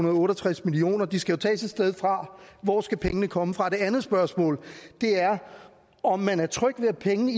og otte og tres million kroner de skal tages et sted fra hvor skal pengene komme fra det andet spørgsmål er om man er tryg ved at pengene